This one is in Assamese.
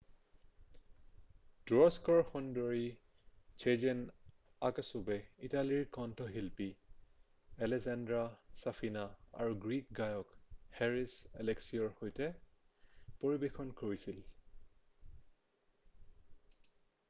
তুৰস্কৰ সুন্দৰী ছেজেন আক্সুৱে ইটালীৰ কন্ঠশিল্পী এলেছান্ড্ৰ' ছাফিনা আৰু গ্ৰীক গায়ক হেৰিছ এলেক্সিঅ'ৰ সৈতে পৰিৱেশন কৰিছিল